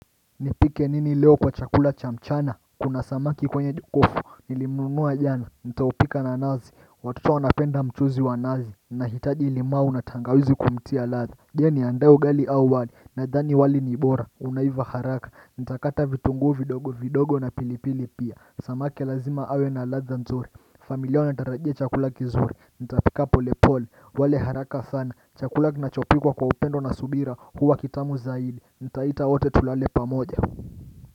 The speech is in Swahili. Nipike nini leo kwa chakula cha mchana kuna samaki kwenye jokofu nilimunua jana nitaopika na nazi watoto wanapenda mchuzi wa nazi nahitaji limau na tangawizi kumtia ladha je niandae ugali au wali nadhani wali nibora unaiva haraka nitakata vitungu vidogo vidogo na pilipili pia samaki lazima awe na ladha nzuri familia wanatarajia chakula kizuri nitapika pole pole wale haraka sana chakula kinachopikwa kwa upendo na subira huwa kitamu zaidi Nitaita wote tulale pamoja.